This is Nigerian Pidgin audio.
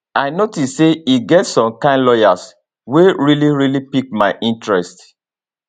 i notice say e get some kain lawyers wey really really pick my interest